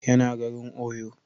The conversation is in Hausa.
Ya na garin Oyo